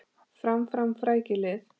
Fram, fram, frækið lið!